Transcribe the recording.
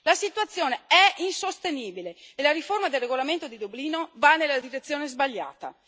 La situazione è insostenibile e la riforma del regolamento di Dublino va nella direzione sbagliata.